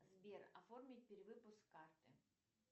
сбер оформить перевыпуск карты